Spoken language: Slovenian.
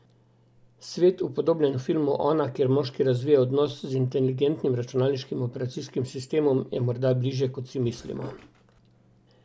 Svet, upodobljen v filmu Ona, kjer moški razvije odnos z inteligentnim računalniškim operacijskim sistemom, je morda bližje, kot si mislimo.